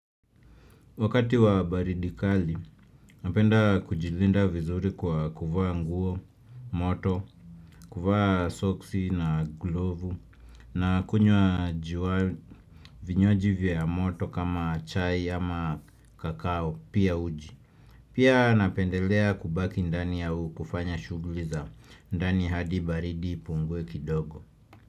Wakati wa baridi kali, napenda kujilinda vizuri kwa kuvaa nguo, moto, kuvaa soksi na glovu na kunywa vinywaji vya moto kama chai ama kakao pia uji. Pia napendelea kubaki ndani au kufanya shuglizangu ndani hadi baridi ipungwe kidogo.